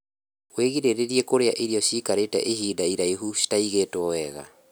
wĩgirĩrĩrie kurĩa irio ciikarite ihinda iraihu citaigitwo wega